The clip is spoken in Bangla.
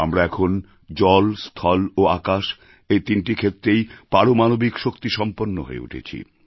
আমরা এখন জল স্থল ও আকাশ এই তিনটি ক্ষেত্রেই পারমাণবিক শক্তিসম্পন্ন হয়ে উঠেছি